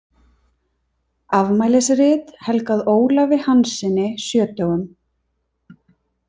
Afmælisrit helgað Ólafi Hanssyni sjötugum.